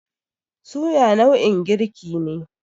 Suya nau'in girki ne.